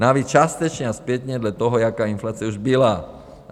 Navíc částečně a zpětně dle toho, jaká inflace už byla.